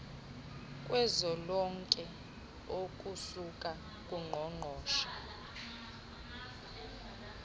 kuzwelonke okusuka kuqoqosho